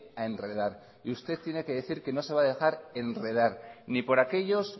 a enredar y usted tiene que decir que no se va a dejar enredar ni por aquellos